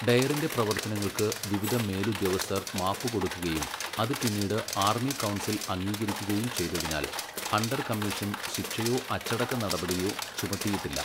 ഡയറിൻ്റെ പ്രവർത്തനങ്ങൾക്ക് വിവിധ മേലുദ്യോഗസ്ഥർ മാപ്പുകൊടുക്കുകയും അത് പിന്നീട് ആർമി കൗൺസിൽ അംഗീകരിക്കുകയും ചെയ്തതിനാൽ ഹണ്ടർ കമ്മീഷൻ ശിക്ഷയോ അച്ചടക്ക നടപടിയോ ചുമത്തിയിട്ടില്ല.